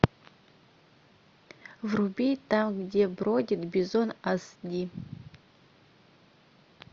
вруби там где бродит бизон аш ди